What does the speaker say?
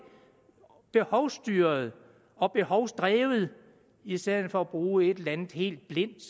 behovsstyret og behovsdrevet i stedet for at bruge et eller andet helt blindt